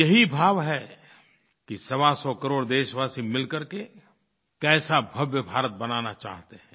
यही भाव है कि सवासौ करोड़ देशवासी मिलकर के कैसा भव्य भारत बनाना चाहते हैं